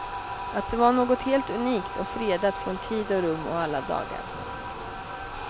Att det var något helt unikt och fredat från tid och rum och alla dagar.